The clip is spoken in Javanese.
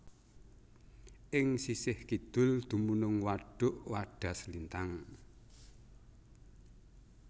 Ing sisih kidul dumunung Wadhuk Wadaslintang